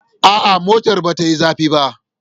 A'a, motar ba ta yi zafi ba.